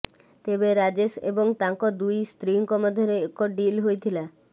ତେବେ ରାଜେଶ ଏବଂ ତାଙ୍କ ଦୁଇ ସ୍ତ୍ରୀଙ୍କ ମଧ୍ୟରେ ଏକ ଡ଼ିଲ ହୋଇଥିଲା